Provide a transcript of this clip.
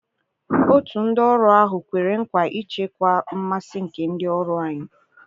Otu ndị ọrụ ahụ kwere nkwa ichekwa mmasị nke ndị ọrụ anyị.